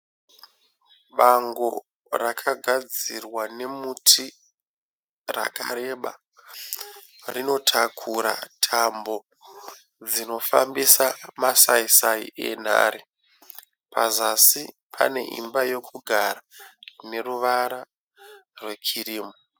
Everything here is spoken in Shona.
Bango rakagadzirwa nemuti rakareba, rinotakura tambo dzinofambisa masaisai enhare, pazasi pane imba yekugara ineruvara rwekirimu.